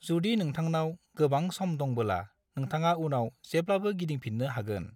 जुदि नोंथांनाव गोबां सम दंबोला नोंथाङा उनाव जेब्लाबो गिदिंफिन्नो हागोन।